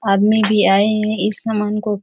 आदमी भी आए है इस सामान को --